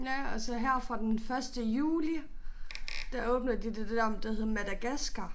Ja og så her fra den første juli der åbner de det der der hedder Madagaskar